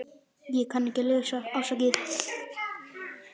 Hann var miður sín.